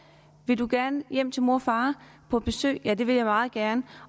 vil i gerne hjem til mor og far på besøg ja det vil vi meget gerne